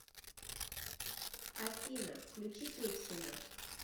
афина включи петькино